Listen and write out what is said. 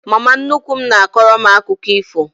Mama nnukwu m na-akọrọ m akụkọ ifo.